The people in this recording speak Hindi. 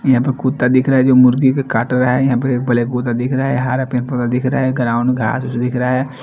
पे कुत्ता दिखरा है मुर्गी के काटने लाये यहां पे ब्लैक दिखरा है हरा पिंक कलर दिखरा है ग्राउंड का आदमी दिखरा है ।